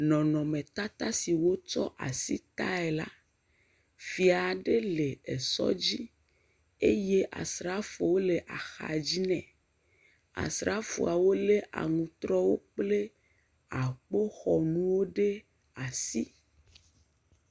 Nɔnɔmetata aɖe si wotsɔ asi tae la, Fia aɖe le sɔdzi eye Asrafowo le axadzi nɛ. Asrafowo lé aŋutrɔwo kple akpoxɔnuwo ɖe asi.